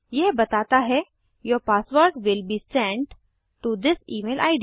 यह बताता है your password will be sent to this email id